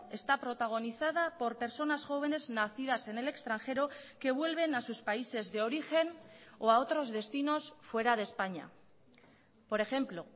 está protagonizada por personas jóvenes nacidas en el extranjero que vuelven a sus países de origen o a otros destinos fuera de españa por ejemplo